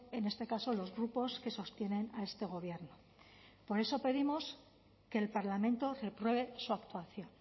en este caso los grupos que sostienen a este gobierno por eso pedimos que el parlamento repruebe su actuación